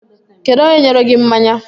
Kedu onye nyere gi mmanya?